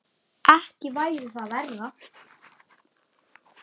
Ekki væri það verra!